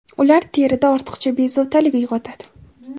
ular terida ortiqcha bezovtalik uyg‘otadi.